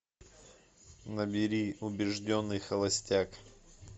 набери убежденный холостяк